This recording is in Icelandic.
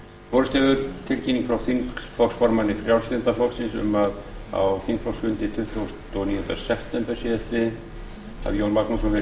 borist hefur tilkynning frá þingflokksformanni frjálslynda flokksins um að á þingflokksfundi tuttugasta og níunda september síðastliðnum hafi jón magnússon verið kjörinn